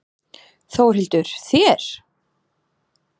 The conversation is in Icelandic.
Þórhildur: Þér?